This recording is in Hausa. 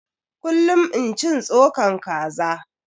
Kullum in cin tsokan kaza